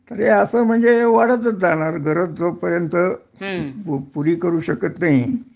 तर असं हे म्हणजे वाढतच जाणार गरज जोपर्यंत पुरी करू शकत नाही